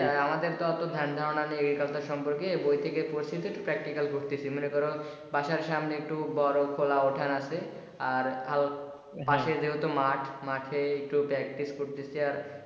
আমাদের তো এতো ধ্যান ধারনা নেই এই সম্পর্কে বৈ থেকে পড়ছি তো একটু practical করতিছি এই ধরো বাসার সামনে একটু বড় খোলা ওঠান আছে আর পাশে যেহেতু মাঠ তো মাঠে একটু practice করতিছি।